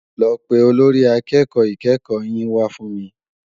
Lò pé ólórì àkèkò ikèékò yin wá fún mi